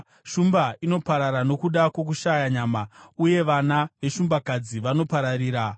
Shumba inoparara nokuda kwokushaya nyama, uye vana veshumbakadzi vanopararira.